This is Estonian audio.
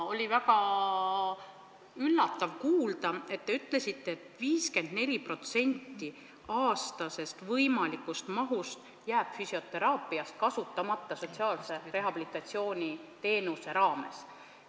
Oli väga üllatav kuulda, kui te ütlesite, et 54% füsioteraapia aastasest võimalikust mahust jääb sotsiaalse rehabilitatsiooni teenuse raames kasutamata.